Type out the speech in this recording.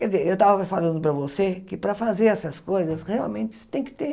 Quer dizer, eu estava falando para você que para fazer essas coisas, realmente você tem que ter